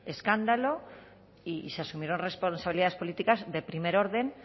escándalo y se asumieron responsabilidades políticas de primer orden